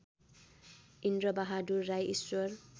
Indrabahadur Rai Ishwar